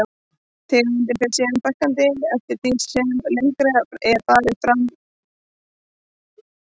Tegundum fer síðan fækkandi eftir því sem lengra er farið frá þessum svæðum.